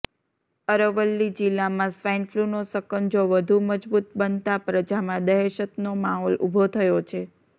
અરવલ્લી જિલ્લામાં સ્વાઈનફ્લુનો સકંજો વધુ મજબૂત બનતાં પ્રજામાં દહેશતનો માહોલ ઉભો થયો છે